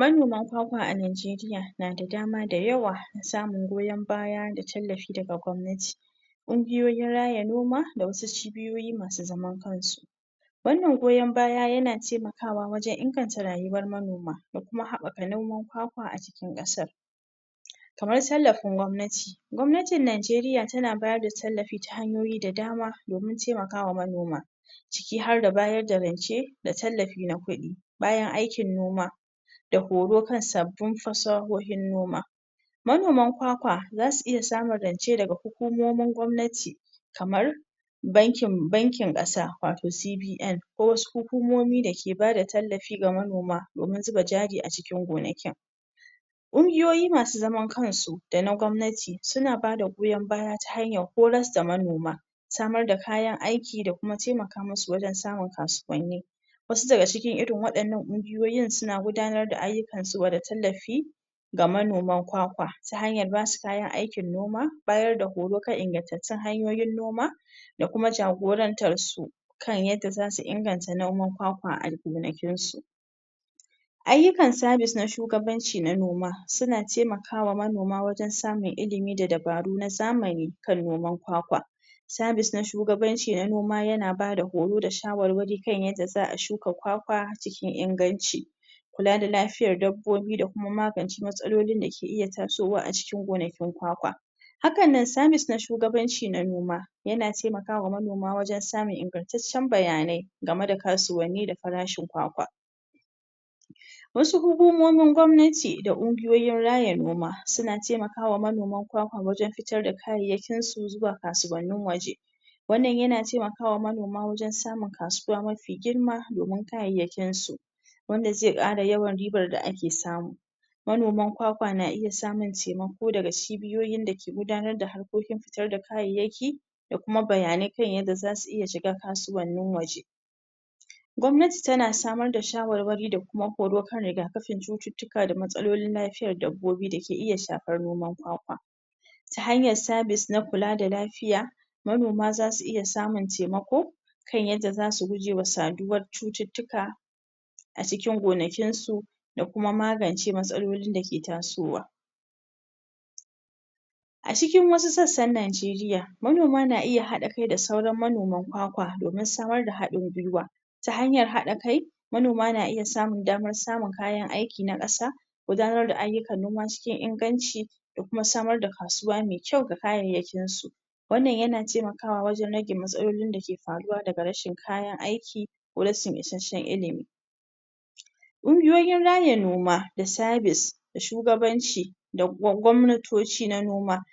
Manoman kwakwa a Najeriya na da dama da yawa na samun goyon baya da tallafi daga gwamnati ƙungiyoyin raya noma da wasu cibiyoyi masu zaman kansu wannan goyon baya yana taimakawa wajen inganta rayuwar manoma, da kuma haɓaka noman kwakwa a cin ƙasar. kamar tallafin gwamnati. Gwamnatin Najeriya tana ba da tallafi da dama domin taimakawa manema. ciki harda bayar da rance da tallafi na kuɗi bayan aikin noma, da horo kan sabbin fasahohin noma manoman kwakwa za su iya samun rance daga hukomomin gwamnati kamar bankin bankin ƙasa wato CBN ko wasu hukumomi da ke ba da tallafi ga manoma domin zuba jari a cikin gonakin. ƙungiyoyi masu zaman kansu da na gwamnati suna ba da goyon baya ta hanyar horar da manoma samar da kayan aiki da kuma taimaka musu wajen samun kasuwanni wasu daga cikin irin waɗannan ƙungiyoyin suna gudanar da ayyukansu gwada tallafi ga manoman kwakwa ta hanyar ba su tallafi bayar da horo kan ingantattun hanyoyin noma da kuma jagorantarsu kan yadda za su inganta noman kwakwa a gonakinsu ayyukan sada sa shugabanci na noma suna taimakawa manoma wajen samun ilimi da dabaru na zamani kan noman kwakwa sabis na shugabanci na noma yana ba da horo da shawarwari kan yadda za a shuka kwakwa cikin inganci kula da lafiyar dabbobi da kuma magance matsalolin da ka iya tasowa a cikin gonakin kwakwa hakan nan sabis na shugabanci na nomayana taimaka wa manoma wajen samun ingantaccen bayanai game da kasuwanni da farshin kwakwa wasu hukumomin gwamnati da ƙungiyoyin raya noma suna taimaka wa manoma kwakwa wajen fitar da kayansu zuwa kasuwannin ƙasashen waje wannna yana taimakwa wa manoma wajen samun kasuwa mafi domin kayayyakinsu, wanda zai ƙara ribar da ake samu manoman kwakwa na iya samun taimako daga cibiyoyin da ke gudanar da harkokin fitar da kayayyaki da kuma bayanai kan yadda za su iya shiga kasuwannin waje gwamnati tana samar da shawarwari da kuma horo kan riga kafin cututtuka da matsalolin lafiyar dabbobi da ke iya shafar kwakwa ta hanyar sabis na kula da lafiya, manoma za su iya samun taimako kan yadda za su guje wa saduwar cututtuka a cikin gonakinsu da kuma magance matsalolin da ke tasowa. A cikin wasu sassana Najeriya, manoma na iya haɗa kai da sauran manoman kwakwa domin samar da hɗin guiwa ta hanyar haɗ kai manoma na iya samun kayan aikin na ƙasa gudanar da ayyukan noma cikin inganci da kuma samar da kasuwa mai kyau ga kayayyakinsu wannan yana taimakwa wajen rage matsalolin da ke faruwa daga rashin aiki ko rashin isasshen ilimi ƙungiyoyin raya noma da sabis da shuganaci da gwamnatoci na noma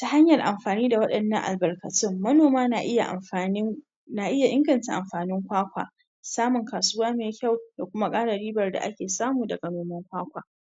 ta hanyara amfani wa waɗannan albarkatun manoma na iya amfani na iya inganta amfanin kwakwa samun kasuwa mai kyau da kuma ƙara ribar da ake samu daga noman kwakwa.